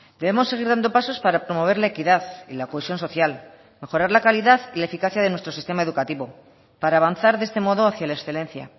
debemos seguir dando pasos para promover la equidad y la cohesión social mejorar la calidad y la eficacia de nuestro sistema educativo para avanzar de este modo hacia la excelencia